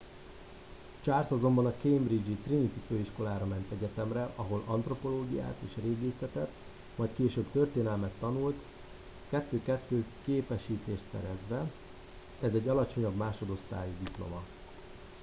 charles azonban a cambridge-i trinity főiskolára ment egyetemre ahol antropológiát és régészetet majd később történelmet tanult 2:2 képesítést szerezve ez egy alacsonyabb másodosztályú diploma